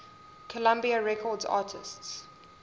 columbia records artists